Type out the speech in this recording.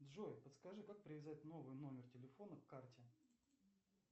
джой подскажи как привязать новый номер телефона к карте